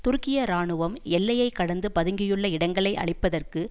துருக்கிய இராணுவம் எல்லையை கடந்து பதுங்கியுள்ள இடங்களை அழிப்பதற்கு